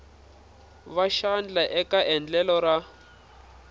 va xandla eka endlelo ra